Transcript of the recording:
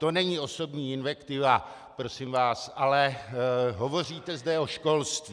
To není osobní invektiva, prosím vás, ale hovoříte zde o školství.